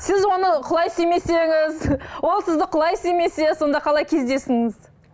сіз оны құлай сүймесеңіз ол сізді құлай сүймесе сонда қалай кездестіңіз